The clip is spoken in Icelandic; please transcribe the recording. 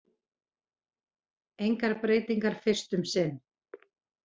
Engar breytingar fyrst um sinn